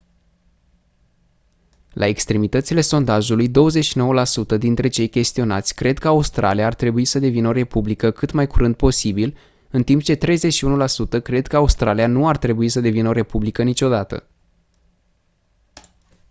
la extremitățile sondajului 29% dintre cei chestionați cred că australia ar trebui să devină o republică cât mai curând posibil în timp ce 31% cred că australia nu ar trebui să devină o republică niciodată